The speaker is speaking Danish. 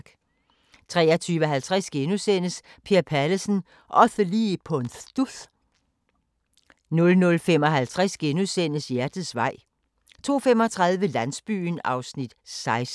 23:50: Per Pallesen – osse lige på en studs! * 00:55: Hjertets vej * 02:35: Landsbyen (16:44) 03:05: Landsbyen (17:44)(ons-tor) 03:40: Dagens Sang: Nulla in mundo pax sincere *